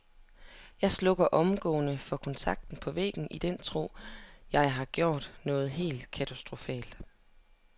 Jeg slukker omgående for kontakten på væggen i den tro, at jeg har gjort noget helt katastrofalt.